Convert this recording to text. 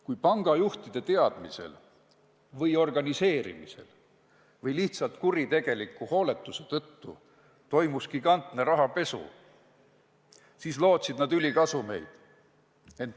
Kui pangajuhtide teadmisel või organiseerimisel või lihtsalt kuritegeliku hooletuse tõttu toimus gigantne rahapesu, siis lootsid nad ülikasumeid.